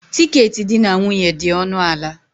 Tiketi di na nwunye dị ọnụ ala.